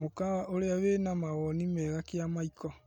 Mũkawa ũrĩa wĩna mawoni mega Kĩamaĩko.